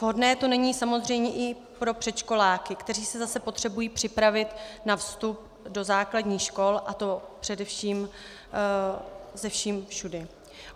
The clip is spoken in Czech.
Vhodné to není samozřejmě ani pro předškoláky, kteří se zase potřebují připravit na vstup do základních škol, a to především se vším všudy.